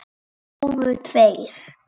Það dóu tveir.